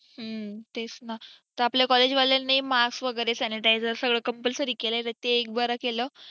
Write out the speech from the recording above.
हं तेच न तर आपल्या collage वाल्यांनी mask वगेरे sanitizer सगळं compulsory केलय ते एक बर केलय